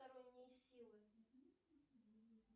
потусторонние силы